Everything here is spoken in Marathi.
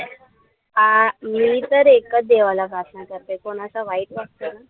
आ मी तर एकच देवाला प्रार्थना करते, कोणाचं वाईट नको करू.